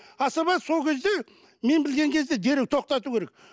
асаба сол кезде мен білген кезде дереу тоқтату керек